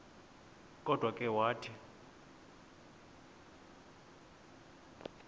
kodwa ke wathi